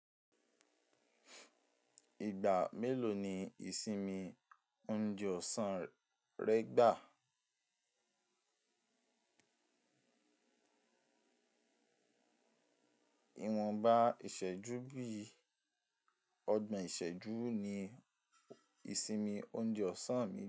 Ìgbà mélòó ni ìsinmi oúnjẹ ọ̀sán rẹ gbà? Ìwọ̀nba ìṣẹ́jú bíi ọgbọ̀n ìṣẹ́jú ni ìsinmi oúnjẹ ọ̀sán mi.